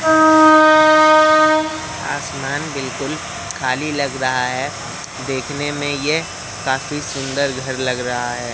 आसमान बिल्कुल खाली लग रहा है देखने में ये काफी सुंदर घर लग रहा है।